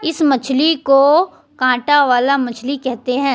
इस मछली को कांटा वाला मछली कहते हैं।